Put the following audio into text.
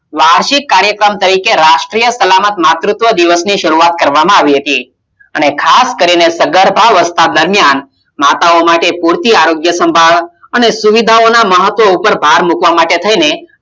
વાષિક કાર્યક્રમ તરીકે રાષ્ટિય સલામત માતુત્વ દિવસ ની શરૂઆત કરવામાં આવી હતી, અને ખાસ કરી ને સગર્ભા દરમિયાન માતાઓ માટે પૂરતી આરોગ્ય સંભાળ અને સુવિધાઓ નો મહત્વ ઉપર ભાર મુકવામાં માટે થઈને